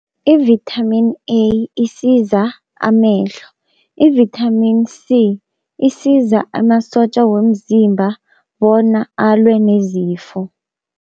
I-Vitamin A isiza amehlo. I-Vitamin C isiza amasotja womzimba bona alwe nezifo.